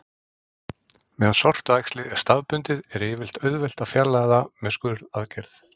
Meðan sortuæxlið er staðbundið er yfirleitt auðvelt að fjarlægja það með skurðaðgerð.